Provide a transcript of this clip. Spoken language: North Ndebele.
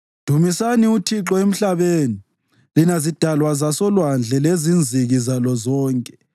Dumisani uThixo emhlabeni, lina zidalwa zasolwandle lezinziki zalo zonke,